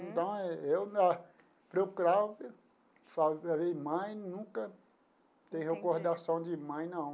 Então, eu procurava, mãe, nunca tem recordação de mãe, não.